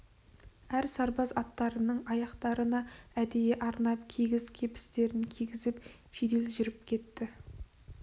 әр сарбаз аттарының аяқтарына әдейі арнап кигіз кебістерін кигізіп жедел жүріп кетті